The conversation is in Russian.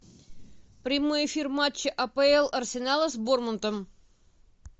прямой эфир матча апл арсенала с борнмутом